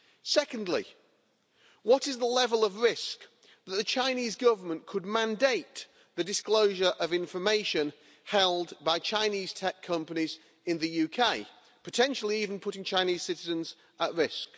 Secondly, what is the level of risk that the Chinese Government could mandate the disclosure of information held by Chinese tech companies in the UK, potentially even putting Chinese citizens at risk?